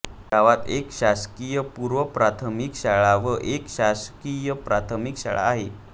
गावात एक शासकीय पूर्वप्राथमिक शाळा व एक शासकीय प्राथमिक शाळा आहे